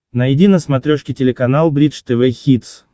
найди на смотрешке телеканал бридж тв хитс